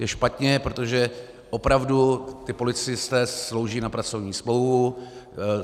Je špatně, protože opravdu ti policisté slouží na pracovní smlouvu.